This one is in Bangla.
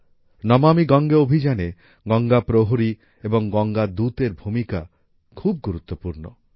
নমামি গঙ্গে অভিযানে গঙ্গা প্রহরী এবং গঙ্গা দূত এর ভূমিকা খুব গুরুত্ব পূর্ণ